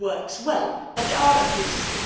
it works well, but there are abuses.